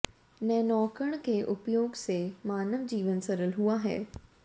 नैनोकण के उपयोग से मानव जीवन सरल हुआ है